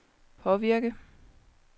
påvirke